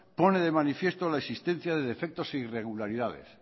pone de manifiesto la existencia de defectos e irregularidades